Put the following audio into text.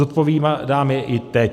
Zodpovídám je i teď.